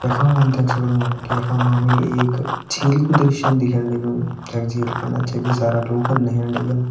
यखा मा हम देख सक्दु कि यखा मा हमि एक झील कु दृश्यन दिखेण लग्युं जख झील फंड छकि सारा लोगन नयेण लग्यां।